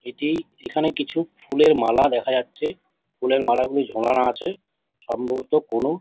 এটি এখানে কিছু ফুলের মালা দেখা যাচ্ছে ফুলের মালাগুলি ঝোলানো আছে সম্ভবত কোনো--